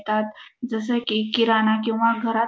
तात जसं की किराणा किंवा घरात--